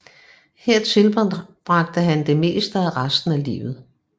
Her tilbragte han det meste af resten af livet